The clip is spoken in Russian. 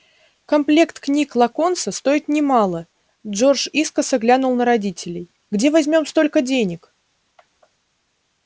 комплект книг локонса стоит немало джордж искоса глянул на родителей где возьмём столько денег